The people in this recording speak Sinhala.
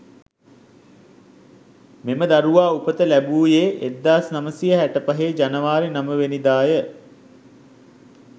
මෙම දරුවා උපත ලැබුයේ 1965 ජනවාරි 9 වෙනිදාය.